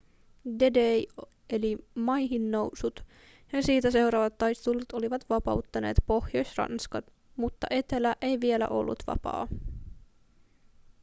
d-day eli maihinnousut ja sitä seuraavat taistelut olivat vapauttaneet pohjois-ranskan mutta etelä ei vielä ollut vapaa